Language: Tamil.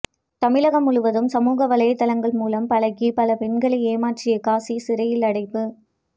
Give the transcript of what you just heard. தமிழகம் முழுவதும் சமூக வலைத்தளங்கள் மூலம் பழகி பல பெண்களை ஏமாற்றிய காசி சிறையில் அடைப்பு